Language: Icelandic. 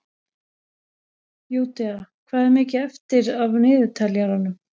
Júdea, hvað er mikið eftir af niðurteljaranum?